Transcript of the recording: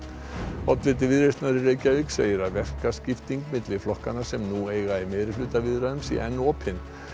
oddviti Viðreisnar í Reykjavík segir að verkaskipting milli flokkanna sem nú eiga í meirihlutaviðræðum sé enn opin